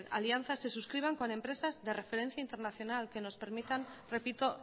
alianzas se suscriban con empresas de referencia internacional que nos permitan repito